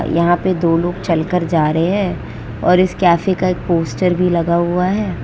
यहां पे दो लोग चलकर जा रहे हैं और इस कैफे का एक पोस्टर भी लगा हुआ है।